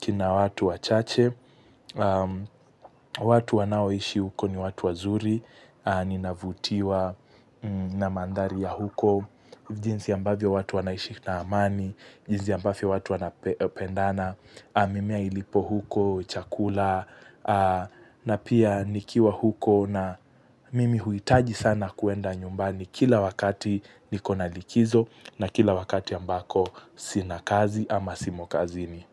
kina watu wachache. Watu wanaoishi huko ni watu wazuri, ninavutiwa na mandhari ya huko. Jinsi ambavyo watu wanaishi na amani, jinsi ambavyo watu wanapendana, mimea ilipo huko, chakula. Na pia nikiwa huko na mimi huitaji sana kuenda nyumbani kila wakati nikona likizo na kila wakati ambako sina kazi ama simo kazini.